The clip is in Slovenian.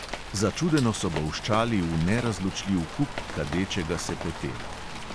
Začudeno so bolščali v nerazločljiv kup kadečega se pepela.